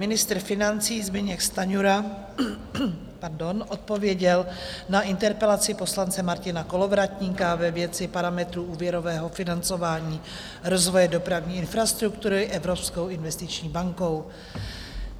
Ministr financí Zbyněk Stanjura odpověděl na interpelaci poslance Martina Kolovratníka ve věci parametrů úvěrového financování rozvoje dopravní infrastruktury Evropskou investiční bankou.